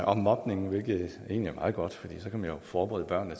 om mobning hvilket egentlig er meget godt for så kan man jo forberede børnene